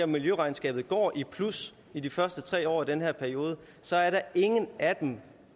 miljøregnskabet går i plus i de første tre år af den her periode så er der ingen af dem